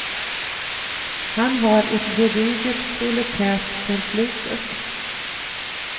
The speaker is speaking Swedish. Han har ett gediget proletärt förflutet.